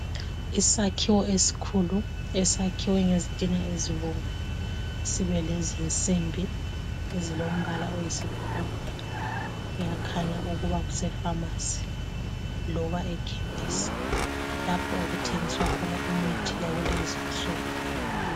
Isakhiwo esikhulu esiyakhiwe ngezitina ezibomvu sibelezinsimbi ezilombala oyisibhakabhaka kuyakhanya ukuba kusefamasi loba ekhemesi lapho okuthengiswa khona imithi yakulezi insuku .